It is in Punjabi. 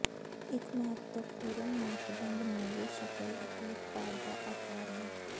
ਇੱਕ ਮਹੱਤਵਪੂਰਨ ਮਾਪਦੰਡ ਨੂੰ ਵੀ ਸ਼ਕਲ ਅਤੇ ਉਤਪਾਦ ਦਾ ਆਕਾਰ ਹੈ